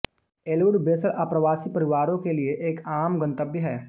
Elwood वेसल आप्रवासी परिवारों के लिए एक आम गंतव्य है